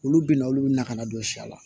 Olu bɛna olu bɛ na ka na don siya la